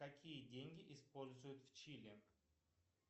какие деньги используют в чили